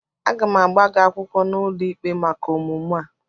Aga m agba gị akwụkwọ n'ụlọikpe maka omume a